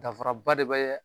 Dafaraba de bɛ